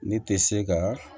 Ne tɛ se ka